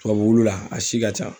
Tubabu la, a si ka ca.